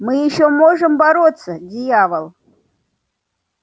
мы ещё можем бороться дьявол